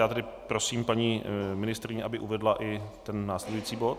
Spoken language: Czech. Já tedy prosím paní ministryni, aby uvedla i ten následující bod.